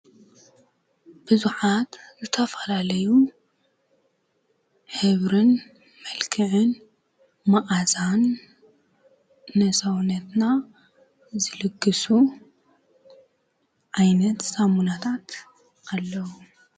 ብዙሓት ዝተፈላለዩ ሕብርን መልክዕን መዓዛን ንሰውነትና ዝልግሱ ዓይነት ሳሙናታት ኣለዉ፡፡